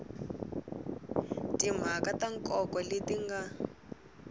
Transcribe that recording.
timhaka ta nkoka leti nga